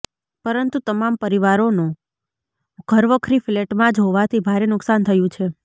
પરંતુ તમામ પરિવારોનો ઘરવખરી ફલેટમાં જ હોવાથી ભારે નુકસાન થયું છે